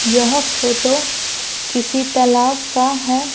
यह फोटो किसी तालाब का है।